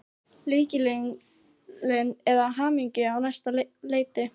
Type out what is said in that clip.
Lykillinn að hamingjunni á næsta leiti.